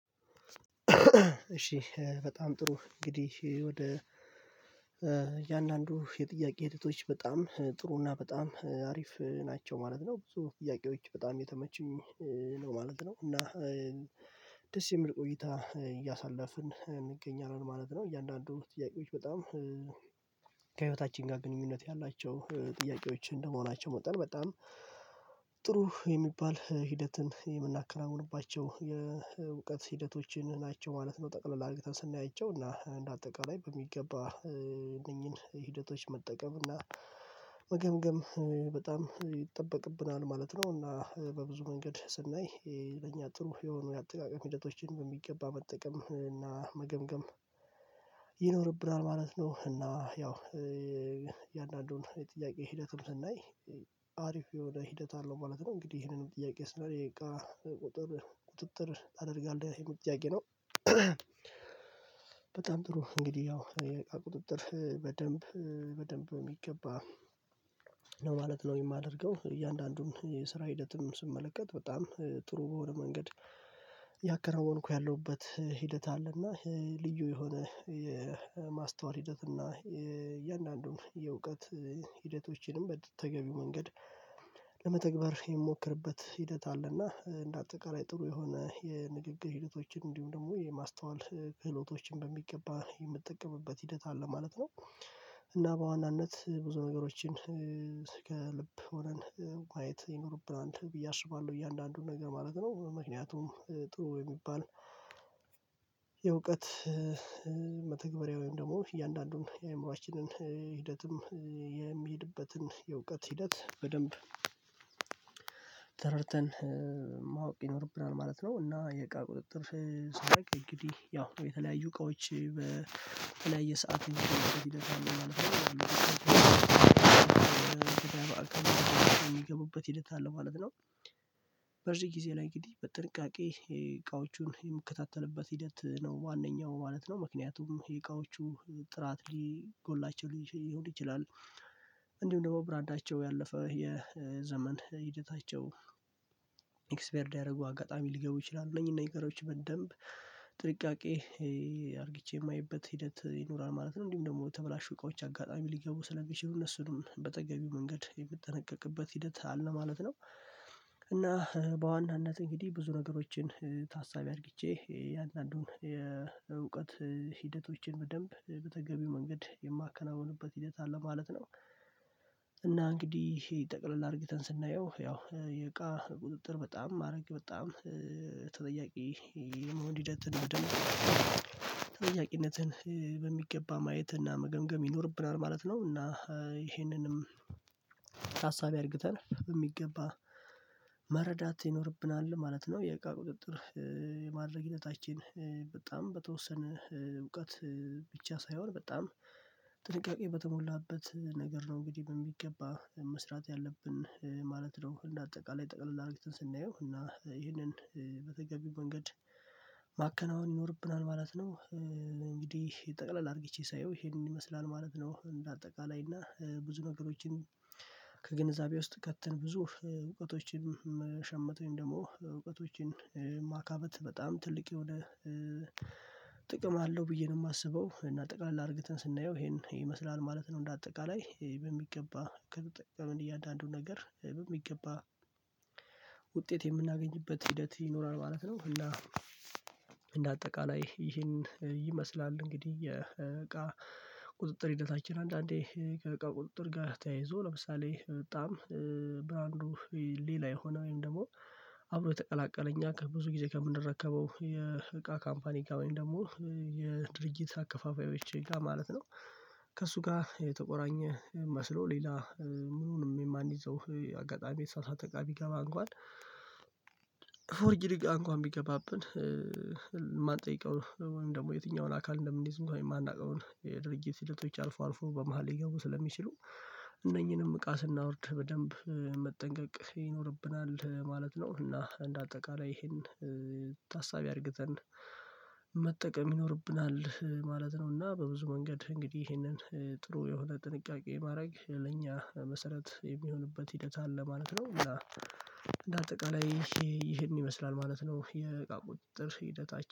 እሺ በጣም ጥሩ እንግዲህ ወደ እያንዳንዱ የጥያቄ ሂደቶች በጣም ጥሩ እና በጣም አሪፍ ናቸው ማለት ነው ብዙ ጥያቄዎች በጣም የተመቹኝ ነው ማለት ነው። እና ደስ የምል ቆይታ እያሳለፍን እንገኛለን ማለት ነው። እያንዳንዱ ጥያቄዎች በጣም ከህይወታችን ጋር ግንኙነት ያላቸው ጥያቄዎች እንደ መሆናቸው በጣም በጣም ጥሩ የሚባል ሂደትን የምናከናውንባቸው የእውቀት ሂደቶችን ናቸው ማለት ነው። ጠቅላል አድርገን ስናይቸው እና እንደ አጠቃላይ በሚገባ እነኚህን ሂደቶች መጠቀም እና መገምገም በጣም ይጠበቅብናል ማለት ነው። እና በብዙ መንገድ ስናይ ይሄ በእኛ ጥሩ የሆኑ የአጠቃቀም ህደቶችን በሚገባ መጠቀም እና መገምገም ይኖርብናል ማለት ነው። እና ያው የእያንዳንዱን የጥያቄ ሂደትም ስናይ አሪፍ የሆነ ሂደት አለው ማለት ነው። እንግዲህ ይሄንንም ጥያቄ ስለ ቃ ቁጥጥር አደርጋለሁ ይሄንንም ጥያቄ ነው። በጣም ጥሩ እንግዲህ ያው የቁጥጥር በደንብ በደንብ የሚገባ ነው ማለት ነው። የማደርገው እያንዳንዱን የስራ ሂደትም ስመለከት በጣም ጥሩ በሆነ መንገድ ያከነወንኩ ያለሁበት ሂደት አለ። እና ልዩ የሆነ የማስተዋል ሂደት እና እያንዳንዱን የእውቀት ሂደቶችንም በተገቢው መንገድ ለመተግበር የሚሞክርበት ሂደት አለና እንደ አጠቃላይ ጥሩ የሆነ የንግግር ሂደቶችን እንዲሁም ደግሞ የማስተዋል ክህሎቶችን በሚገባ የምትጠቀምበት ሂደት አለ ማለት ነው። እና በዋናነት ብዙ ነገሮችን ከልብ ሆነን ማየት ይኖርብናል ብዬ አስባለሁ እያንዳንዱን ነገር ማለት ነው። ምክንያቱም ጥሩ የሚባል የእውቀት መተግበሪያ ወይም ደግሞ እያንዳንዱን የእምሮአችንን ሂደትም የሚሄድበትን የእውቀት ሂደት በደንብ ተረድተን ማወቅ ይኖርብናል ማለት ነው። እና የእቃ ቁጥጥር ሳደርግ እንግዲህ ያው የተለያዩ እቃዎች በተለያየ ሰዓት ይደርሳሉ። በዚህ ጊዜ ላይ እንግዲህ በጥንቃቄ እቃዎቹን የምከታተልበት ሂደት ነው ዋነኛው ማለት ነው። ምክንያቱም የእቃዎቹ ጥራት ሊጎድላቸው ይችላል እንዲሁም ደግሞ ብራንዳቸው ያለፈ የዘመን ሂደታቸው ኤክስፓይርድ ያደረጉ አጋጣሚ ሊገቡ ይችላሉ እነዚህን ነገሮች በደንብ ጥንቃቄ አድርጌ የማየበት ሂደት ይኖራል ማለት ነው። እንዲሁም ደግሞ የተበላሹ እቃዎች አጋጣሚ ሊገቡ ስለሚችሉ እነሱንም በተገቢው መንገድ የምጠነቀቅበት ሂደት አለ ማለት ነው። እና በዋናነት እንግዲህ ብዙ ነገሮችን ታሳቢ አድርጊቼ የእውቀት ሂደቶችን በደንብ በተገቢው መንገድ የማከናውንበት ሂደት አለ ማለት ነው። እና እንግዲህ ይሄ ጠቅለል አድርጊተን ስናየው ያው የእቃ ቁጥጥር በጣም ማድረግ በጣም ተጠያቂ የመሆን ሂደትን በደንብ ተጠያቂነትን በሚገባ ማየት እና መገምገም ይኖርብናል ማለት ነው። እና ይሄንንም ታሳቢ አድርገን በሚገባ መረዳት ይኖርብናል ማለት ነው። የእቃ ቁጥጥር የማድረግ ሂደታችን በጣም በተወሰነ እውቀት ብቻ ሳይሆን በጣም ጥንቃቄ በተሞላበት ነገር ነው እንግዲህ በሚገባ መስራት ያለብን ማለት ነው። እንደ አጠቃላይ ጠቅላላ አርጊትን ስናየው እና ይህንን በተገቢው መንገድ ማከናወን ይኖርብናል ማለት ነው። እንግዲህ ጠቅለል አድርጌቼ ሳየው ይሄንን ይመስላል ማለት ነው። እንደ አጠቃላይ እና ብዙ ነገሮችን ከግንዛቤ ውስጥ ከትን ብዙ እውቀቶችን መሸመት ወይም ደግሞ እውቀቶችን ማካበት በጣም ትልቅ የሆነ ጥቅም አለው ብዬ ነው የማስበው እና ጠቃላይ አድርገን ስናየው ይሄን ይመስላል ማለት ነው። እንደ አጠቃላይ በሚገባ ጥቅም እያንዳንዱን ነገር በሚገባ ውጤት የምናገኝበት ሂደት ይኖራል ማለት ነው። እና እንደ አጠቃላይ ይህን ይመስላል እንግዲህ የእቃ ቁጥጥር ሂደታችን አንዳንዴ ከእቃ ቁጥጥር ጋር ተያይዞ ለምሳሌ በጣም ብራንዱ ሌላ የሆነ ወይም ደግሞ አብሮ የተቀላቀለኝ ከብዙ ጊዜ ከምንረከበው የእቃ ካምፓኒ እቃ ወይም ደግሞ የድርጊት አከፋፋዮች እቃ ማለት ነው። ከእሱ ጋር የተቆራኘ መስሎ ሌላ ምኑንም የማንይዘው አጋጣሚ የተሳሳተ እቃ ቢገባ እንኳን ፎርጅድ እንኳን ቢገባብን የማንጠይቀው ወይም ደግሞ የትኛውን አካል እንደምንይዝ እንኮን የማናውቀው የድርጅት ሂደቶች አልፎ አልፎ በመሃል ሊገቡ ስለሚችሉ እነኚህንም እቃ ስናወርድ በደንብ መጠንቀቅ ይኖርብናል ማለት ነው። እና እንደ አጠቃላይ ይሄን ታሳቢ አድርገን መጠቀም ይኖርብናል ማለት ነው። እና በብዙ መንገድ እንግዲህ ይሄንን ጥሩ የሆነ ጥንቃቄ ማድረግ ለእኛ መሰረት የሚሆንበት ሂደት አለ ማለት ነው። እና ነው እና እንደ አጠቃላይ ይሄን ይመስላል ማለት ነው። የቃ ቁጥጥር ሂደታችን